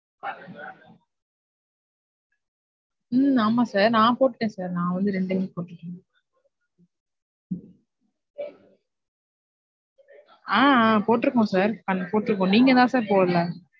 உம் ஆமா sir நான் போட்டேன் sir நான் ரெண்டுமே ஆ போட்ருக்கோம் sir நீங்க தான் sir போடல.